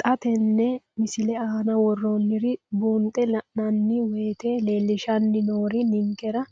Xa tenne missile aana worroonniri buunxe la'nanni woyiite leellishshanni noori ninkera